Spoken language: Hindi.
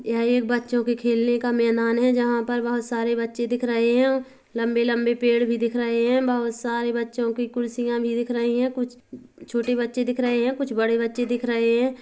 यह एक बच्चों के खेलने का मैदान है जहाँ पर बोहत सारे बच्चे दिख रहे है लंबे लंबे पैड भी दिख रहे है बहुत सारे बच्चों की कुर्सियां भी दिख रही है कुछ छोटे बच्चे दिख रहे है कुछ बड़े बच्चे दिख रहे है।